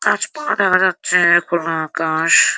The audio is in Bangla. গাছপালা দেখা যাচ্ছে-এ খোলা আকাশ --